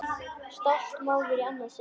Stolt móðir í annað sinn.